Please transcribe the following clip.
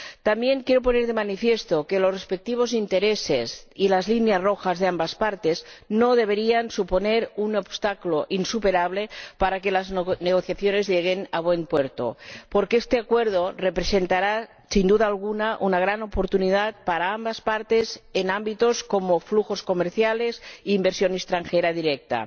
También quiero poner de manifiesto que los respectivos intereses y las líneas rojas de ambas partes no deberían suponer un obstáculo insuperable para que las negociaciones lleguen a buen puerto, porque este Acuerdo representará, sin duda alguna, una gran oportunidad para ambas partes en ámbitos como flujos comerciales e inversión extranjera directa.